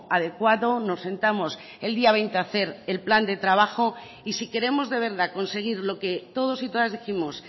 adecuado nos sentamos el día veinte a hacer el plan de trabajo y si queremos de verdad conseguir lo que todos y todas dijimos